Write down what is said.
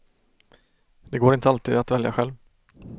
Det går inte alltid att välja själv.